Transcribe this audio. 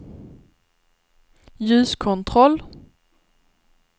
ljuskontroll